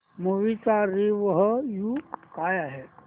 movie चा review काय आहे